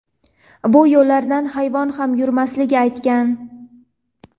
bu yo‘llardan hayvon ham yurmasligini aytgan.